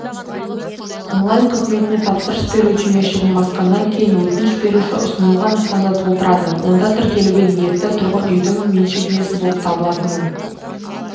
онлайн қызметіне тапсырыс беру түймешігін басқаннан кейін өтініш беруші ұсынылған нысанды толтырады онда тіркелуге ниетті тұрғын үйдің меншік иесі болып табылатынын